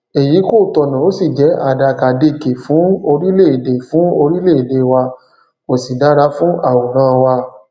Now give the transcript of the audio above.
èyí kò tọnà ó sì jẹ àdàkàdekè fún orílẹèdè fún orílẹèdè wa kò sì dára fún àwòrán wa